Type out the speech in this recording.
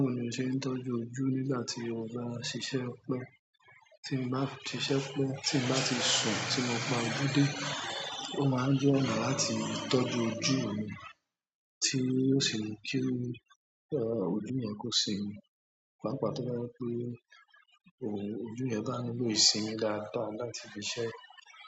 Bẹ́ẹ̀ni ó ṣe tọ́jú ojú nígbà tí ọgbọ́n ń ṣiṣẹ́ pẹ́, tí ń bá ṣiṣẹ́ pẹ́, tí ń bá ti ṣù, tí mo pa òdodo, ó máa ń jẹ́ ọ̀nà láti tọ́jú ojú mi kí ó sì mú kí ọ̀ ọ́ ojú yẹn kó ṣi mi, pàápàá tọ́ka pé oò ojú yẹn bá nílò ìsinmi dáadáa láti fi ṣẹ́